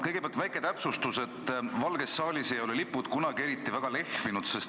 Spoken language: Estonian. Kõigepealt väike täpsustus, et Valges saalis ei ole lipud kunagi eriti lehvinud.